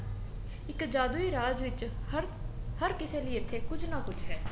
ਇੱਕ ਜਾਦੂਈ ਰਾਜ ਵਿੱਚ ਹਰ ਹਰ ਕਿਸੇ ਲਈ ਇੱਥੇ ਕੁੱਝ ਨਾ ਕੁੱਝ ਹੈ